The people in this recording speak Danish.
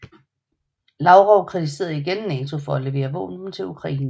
Lavrov kritiserede igen NATO for at levere våben til Ukraine